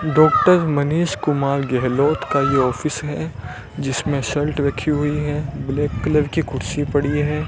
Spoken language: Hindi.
डॉक्टर मनीष कुमार गहलोट का ये ऑफिस है जिसमें शलर्ट रखी हुई है ब्लैक कलर की कुर्सी पड़ी है।